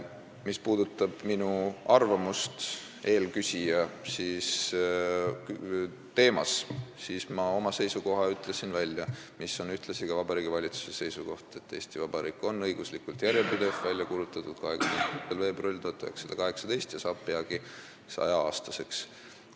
Mis puudutab minu arvamust eelküsija tõstatatud teema kohta, siis ma ütlesin välja oma seisukoha, mis on ühtlasi Vabariigi Valitsuse seisukoht: Eesti Vabariik on õiguslikult järjepidev, ta on välja kuulutatud 24. veebruaril 1918 ja saab peagi 100-aastaseks.